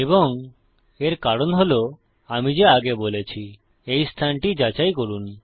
এবং এর কারণ হল আমি যা আগে বলেছি এই স্থানটি যাচাই করুন